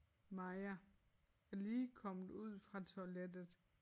Maja er lige kommet ud fra toilettet